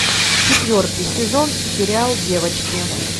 четвертый сезон сериал девочки